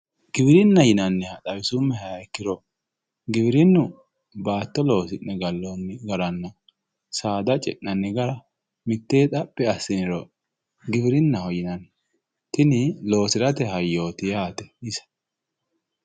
Giwirinna yinanniha xawisuummohero giwirinu baatto loosi'ne gallonni garanna saada ce'nanni gara mitteenni xaphi assiniro giwirinaho yinanni kuni loosirate hayyoti yaate.